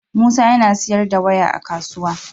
Musa yAna siyar da waya a kasuwa